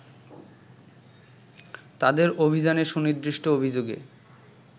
তাদের অভিযানে সুনির্দিষ্ট অভিযোগে